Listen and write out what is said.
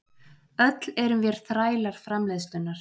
Öll erum vér þrælar framleiðslunnar.